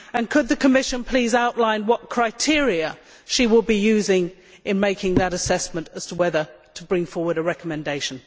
Could the Commissioner please outline what criteria she will be using in making that assessment as to whether to bring forward a recommendation?